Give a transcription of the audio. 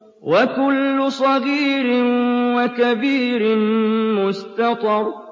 وَكُلُّ صَغِيرٍ وَكَبِيرٍ مُّسْتَطَرٌ